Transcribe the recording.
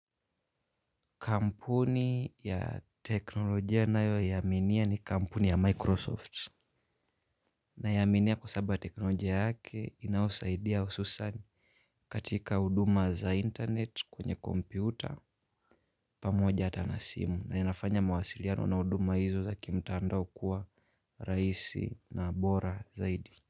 Kampuni ya teknolojia nayo ninayoiaminia ni kampuni ya Microsoft Ninaiaminia kwa sababu ya teknolojia yake inayosaidia hususan katika huduma za internet kwenye kompyuta, pamoja hata na simu na inafanya mawasiliano na huduma hizo za kimtandao kuwa rahisi na bora zaidi.